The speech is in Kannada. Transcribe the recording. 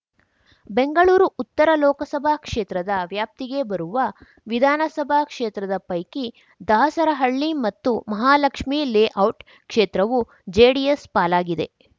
ಬೆಂಗಳೂರು ಉತ್ತರ ಲೋಕಸಭಾ ಕ್ಷೇತ್ರದ ವ್ಯಾಪ್ತಿಗೆ ಬರುವ ವಿಧಾನಸಭಾ ಕ್ಷೇತ್ರದ ಪೈಕಿ ದಾಸರಹಳ್ಳಿ ಮತ್ತು ಮಹಾಲಕ್ಷೀ ಲೇಔಟ್‌ ಕ್ಷೇತ್ರವು ಜೆಡಿಎಸ್‌ ಪಾಲಾಗಿದೆ